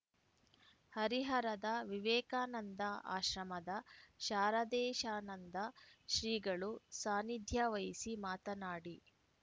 ಹರಿಹರದ ವಿವೇಕಾನಂದ ಆಶ್ರಮದ ಶಾರದೇಶಾನಂದ ಶ್ರೀಗಳು ಸಾನಿಧ್ಯ ವಹಿಸಿ ಮಾತನಾಡಿ